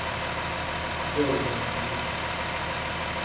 Jörgen Kvist